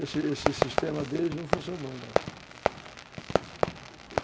Esse sistema deles não funcionou, não.